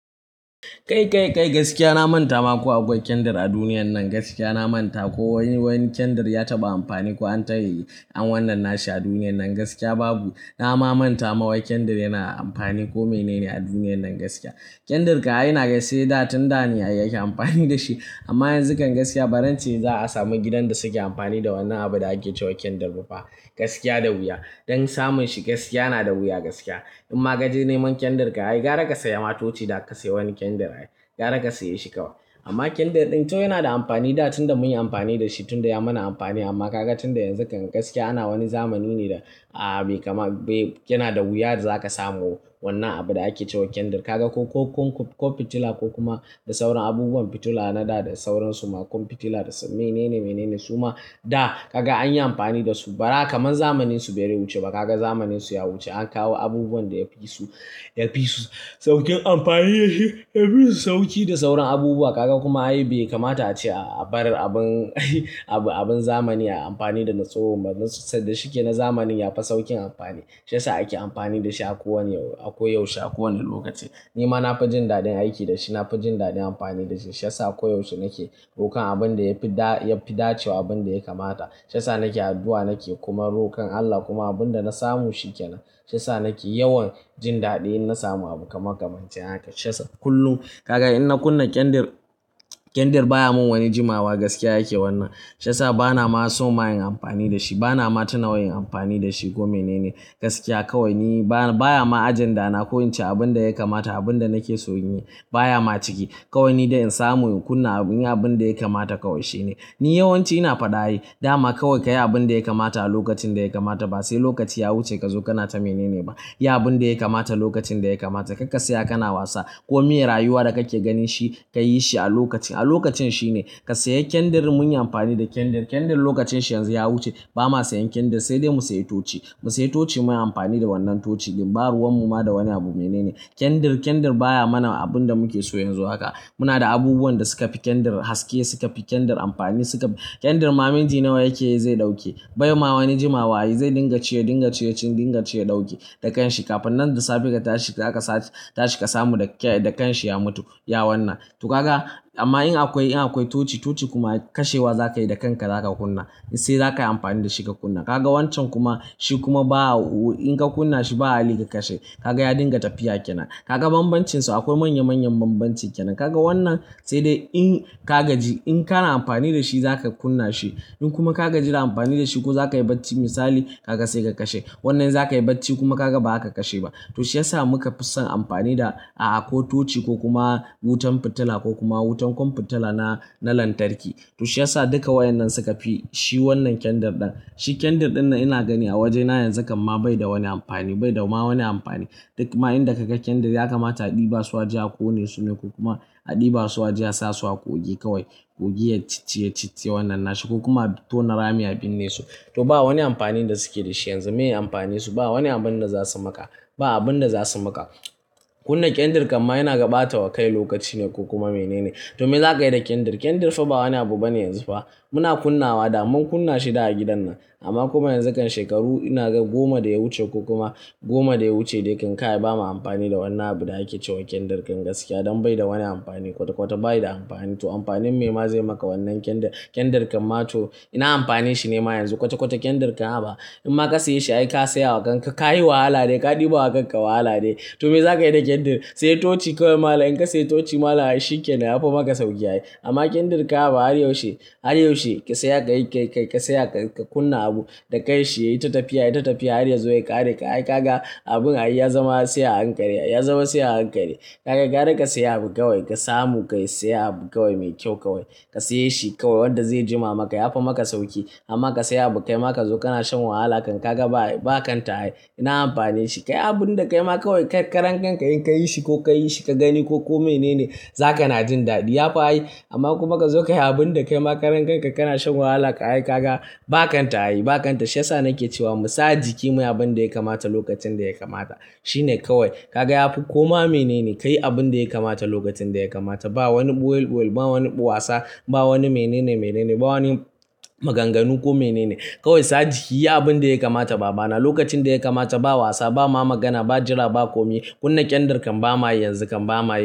Kai gaskiya na manta ma ko akwai kyandir a duniyan nan. Gaskiya na manta ko wani kyandir ya taɓa amfani ko an tayi an wannan nashi a duniyan nan gaskiya babu. Na ma manta ma wai kyandir yana amfani ko mene ne a duniyan nan gaskiya. Kyandir ka ai naga sai da tunda ne ake amfani da shi amma yanzu kam gaskiya bazance ce za a samu gidan da suke amfani da wannan abin da ake cewa kyandir ba fa. Gaskiya da wuya don samun shi gaskiya yana da wuya gaskiya. In ma ka je neman kyandir ka ai gara ka saya ma toci da ka sayi wani kyandir ai gara ka sayi shi kawo. Amma kyandir ɗin tun yana da amfani da can tunda mun yi amfani da shi tunda ya mana amfani amma ka ga tunda yanzu kam gaskiya ana wani zamani ne da ah bai kama bai yana da wuya da zaka samu wannan abin da ake cewa kyandir. Ka ga ko fitila ko kuma da sauran abubuwan fitila na da da sauransu ma komfitila da su mene ne mene ne suma da ka ga an yi amfani da su bara kamar zamaninsu bai wuce ba. Ka ga zamaninsu ya wuce an kawo abubuwan da yafi su yafi su saukin amfani da shi, yafi su sauki da sauran abubuwa. Ka ga kuma ai bai kamata ace a bar abin zamani a yi amfani da na tsohon ba. Na sanda shi ke na zamanin ya fi saukin amfani. Shi ya sa ake amfani da shi akowani ako yaushe a kowane lokaci. Ni ma na fi jin daɗin aiki da shi. Na fi jin daɗin amfani da shi. Shi ya sa koyaushe nake rokon abin da yafi da yafi dacewa abin da ya kamata. Shi ya sa nake addu'a nake kuma rokon Allah kuma abin da na samu shi ke nan. Shi ya sa nake yawan jin daɗi in na samu abu kamar kamance haka shi ya sa. Kullum ka ga in na kunna kyandir, kyandir baya mun wani jimawa gaskiya yake wannan. Shi ya sa bana ma so ma nayi amfani da shi. Bana ma tuna wai nayi amfani da shi ko mene ne gaskiya. Kawai ni ba baya ma ajanda na ko ince abin da ya kamata abin da nake so in yi. Baya ma ciki. Kawai ni da in samu in kunna abin da ya kamata kawai shine. Ni yawanci ina faɗa ai dama kawai ka yi abin da yaka mata a lokacin da yaka mata ba sai lokaci ya wuce ka zo kana ta mene ne ba. Yi abin da yake kamata lokacin da yake kamata. Karka tsaya kana wasa ko mayai rayuwa da kake ganin shi ka yi shi a lokaci. A lokacin shine. Ka sayi kyandir mun yi amfani da kyandir. Kyandir lokacin shi yanzu ya wuce. Ba ma sayan kyandir sai dai mu sayi tochi. Mu sayi tochi muyi amfani da wannan tochi. Baruwanmu ma da wani abu mene ne. Kyandir, kyandir baya mana abin da muke so yanzu haka. Muna da abubuwan da suka fi kyandir haske, suka fi kyandir amfani suka-- kyandir ma minti nawa yake yi zai ɗauke. Bai ma wani jimawa ai zai dinga ce ya dinga ce cikin dinga ce ya ɗauke da kan shi kafin nan da safe ka tashi ka tashi ka samu da kan shi ya mutu. Ya wannan. To ka ga amma in akwai in akwai tochi, tochi kuma kashewa za ka yi da kanka za ka kunna. Sai za ka yi amfani da shi ka kunna. Ka ga wancan kuma shi kuma ba-- in ka kunna shi ba hali ka kashe. Ka ga ya dinga tafiya ke nan. Ka ga banbancin su akwai manya manyan banbancin ke nan. Ka ga wannan sai dai in ka gaji in kana amfani da shi za ka kunna shi. In kuma ka gaji da amfani da shi ko zaka yi bacci misali ka ga sai ka kashe. Wannan za ka yi bacci kuma kaga ba ka kashe ba. To shi ya sa muka fi son amfani da a'a ko tochi ko kuma wutan fitila ko kuma wutan komfitila na lantarki. To shi ya sa duka waƴannan suka fi shi wannan kyandir ɗan. Shi kyandir ɗin nan ina gani a wajena yanzu kam ma bai da wani amfani. Bai da ma wani amfani. Duk ma inda ka ga kyandir ya kamata a ɗiba su ajiye a kone su ne ko kuma a ɗiba su ajiye a sasu a ƙugi kawai. Ƙugi ya cicciye ya cicciye wannan nashi ko kuma tona rami a binne su. To ba wani amfani da suke da shi yanzu. Meye amfani su? Ba wani abun da za su maka. Ba abun da za su maka. Kunna kyandir kam ma ina ga bata wa kai lokaci ne ko kuma mene ne. To me za ka yi da kyandir? Kyandir fa ba wani abu bane yanzu fa. Muna kunnawa da mun kunna shi da a gidan nan. Amma kuma yanzu kam shekaru ina ga goma da ya wuce ko kuma goma da ya wuce dai kam ka bama amfani da wannan abin da ake cewa kyandir kam gaskiya don bai da wani amfani kwata kwata bayi da amfani. To amfanin me ma zai maka wannan kyandir? Kyandir kam ma to ina amfani shi ne ma yanzu kwata kwata kyandir kam haba. In ma ka saye shi ai ka sayawa kanka. Ka yi wahala ne. Ka ɗiba wa kanka wahala ne. To me za ka yi da kyandir? Saye tochi kawai malam, In ka saye tochi malam ai shi kenan ya fi maka sauki ai. Amma kyandir ka a ba har yaushe har yaushe ka saya ka yi ka saya ka kunna abu da kai shi yayi ta tafiya yayi tafiya har ya zo ya ƙare ka ai ka ga abun ai ya zama sai a hankare. Ya zama sai a hankare. Ka ga gara ka sayi abu kawai ka samu ka yi sayi abu kawai mai kyau kawai. Ka saye shi kawai wanda zai jima maka ya fi maka sauki. Amma ka sayi abu kai ma ka zo kana shan wahala kan ka ga ba kanta ai. Ina amfani shi kayi abun da kai ma kawai karan kanka in ka yi shi ko ka yi shi ka gani ko kome ne ne za ka na jin daɗi. Ya fi ai amma kuma kazo ka yi abun da kai ma karan kanka kana shan wahala ka ai ka ga ba kanta ai ba kanta. Shi ya sa nake cewa mu sa jiki muyi abun da yaka mata lokacin da yaka mata. Shi ne kawai. Ka ga ya fi koma mene ne. Ka yi abun da yaka mata lokacin da yaka mata. Ba wani ɓual ɓual ba wani wasa ba wani mene ne mene ne ba wani maganganu ko mene ne. Kawai sa jiki yi abun da yaka mata ba bana lokacin da yaka mata ba wasa ba ma magana ba jira ba komi. Kunna kyandir kam ba mayi yanzu kam ba mayi.